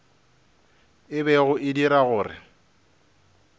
e bego e dira gore